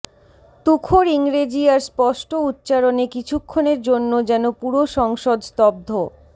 তুখোড় ইংরেজি আর স্পষ্ট উচ্চারণে কিছুক্ষণের জন্য যেন পুরো সংসদ স্তব্ধ